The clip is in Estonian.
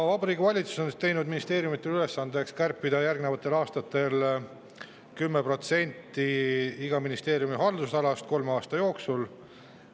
Vabariigi Valitsus on teinud ministeeriumidele ülesandeks kärpida 10% iga ministeeriumi haldusalast kolme aasta jooksul.